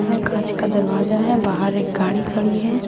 उनमें काँंच का दरवाजा है बाहर एक गाड़ी खड़ी है।